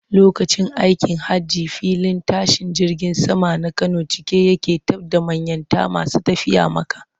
Lokacin aikin hajji filin tashin jirgin saman na Kano cika yake taf da manniyata masu tafiya Makka.